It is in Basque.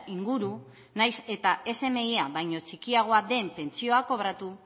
inguru nahiz eta smia baino txikiagoa den pentsioa den kobratu